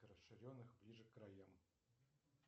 расширенных ближе к краям